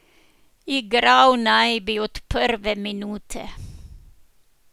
Igral naj bi od prve minute.